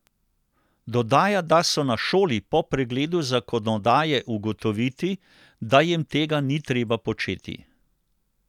Dodaja, da so na šoli po pregledu zakonodaje ugotoviti, da jim tega ni treba početi.